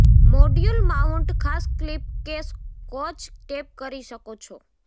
module mount ખાસ clip કે scotch tape કરી શકો છો